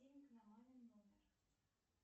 денег на мамин номер